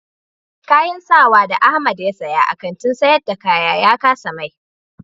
Kayan sawa da Ahamed ya siya a Kantin sayar da kaya ya kasa mai.